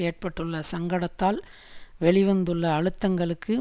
ஏற்பட்டுள்ள சங்கடத்தால் வெளி வந்துள்ள அழுத்தங்களுக்கு